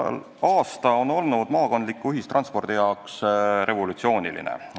Käesolev aasta on olnud maakondliku ühistranspordi jaoks revolutsiooniline.